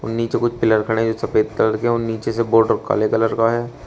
उ नीचे कुछ पिलर खड़े हैं जो सफेद कलर के हैं और नीचे से बॉर्डर काले कलर का है।